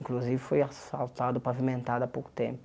Inclusive foi asfaltado, pavimentado há pouco tempo.